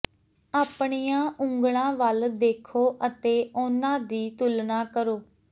ਆਪਣੀਆਂ ਉਂਗਲਾਂ ਵੱਲ ਦੇਖੋ ਅਤੇ ਉਨ੍ਹਾਂ ਦੀ ਤੁਲਨਾ ਕਰੋ